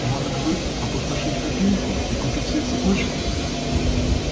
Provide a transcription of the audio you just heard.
может быть опустошить копилку и купить себе цепочку